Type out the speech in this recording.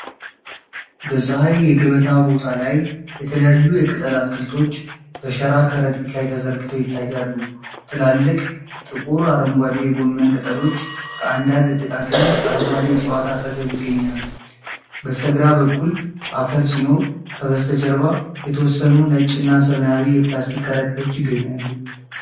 በፀሐይ የገበያ ቦታ ላይ የተለያዩ የቅጠል አትክልቶች በሸራ ከረጢት ላይ ተዘርግተው ይታያሉ። ትላልቅ፣ ጥቁር አረንጓዴ የጎመን ቅጠሎች ከአንዳንድ ጥቃቅን አረንጓዴ እፅዋት አጠገብ ይገኛሉ። በስተግራ በኩል አፈር ሲኖር፣ ከበስተጀርባ የተወሰኑ ነጭና ሰማያዊ የፕላስቲክ ከረጢቶች ይገኛሉ።